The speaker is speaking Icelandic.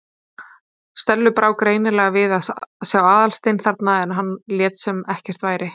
Stellu brá greinilega við að sjá Aðalstein þarna en hann lét sem ekkert væri.